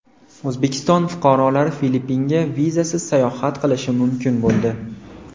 O‘zbekiston fuqarolari Filippinga vizasiz sayohat qilishi mumkin bo‘ldi.